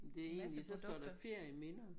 Det egentlig så står der ferieminder